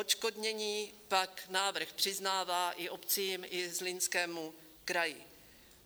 Odškodnění pak návrh přiznává i obcím, i Zlínskému kraji.